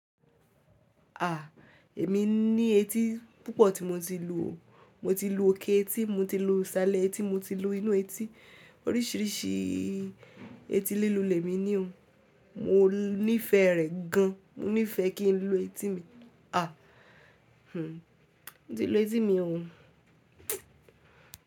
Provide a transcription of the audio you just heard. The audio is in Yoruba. A! Èmi ní etí púpọ̀ tí mo ti lu o. Mo ti lu òkè etí, mo ti lu ìsàlẹ̀ etí, mo ti lu inú etí. Oríṣìíríṣìí etí lílù lẹ́mi ní o. Mo nífẹ̀ẹ́ rẹ̀ gan. Mo nífẹ̀ẹ́ kí n lu etí mi. A! Hmm, mo ti lu etí mi o.